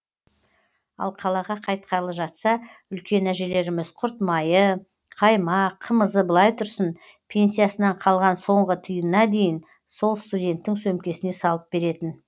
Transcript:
ал қалаға қайтқалы жатса үлкен әжелеріміз құрт майы қаймақ қымызы былай тұрсын пенсиясынан қалған соңғы тиынына дейін сол студенттің сөмкесіне салып беретін